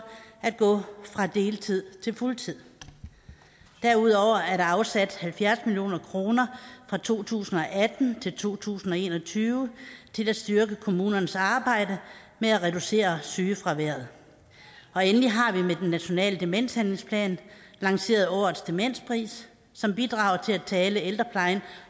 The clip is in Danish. at gå fra deltid til fuld tid derudover er der afsat halvfjerds million kroner fra to tusind og atten til to tusind og en og tyve til at styrke kommunernes arbejde med at reducere sygefraværet og endelig har vi med den nationale demenshandlingsplan lanceret årets demenspris som bidrager til at tale ældreplejen